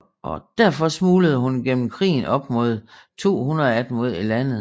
Derfor smuglede hun gennem krigen op mod 200 af dem ud af landet